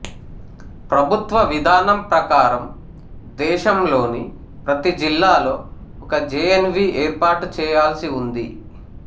ప్రభుత్వ విధానం ప్రకారం దేశంలోని ప్రతి జిల్లాలో ఒక జేఎన్వీ ఏర్పాటు చేయాల్సి ఉంది